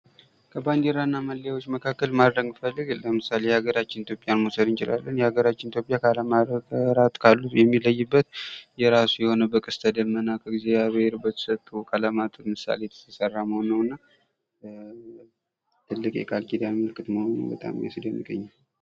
ከባንዲራ እና መለያዎች መካከል ማድረግ ብፈልግ ለምሳሌ የሀገራችንን ኢትዮጵያን መውሰድ እንችላለን። የሀገራችን ኢትዮጵያ ከአለም ሀገራት ካሉት የሚለይበት የራሱ የሆነ በቀስተደመና እግዚአብሄር በሰጠው ቀለማት ምሳሌ የተሰራ መሆኑ ነውና ትልቅ የቃል ኪዳን ምልክት መሆኑ በጣም ያስደንቀኛል።